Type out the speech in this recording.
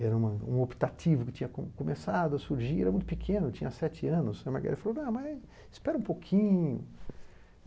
Era um uma optativo que tinha começado a surgir, era muito pequeno, tinha sete anos, e a Margarida falou, espera um pouquinho.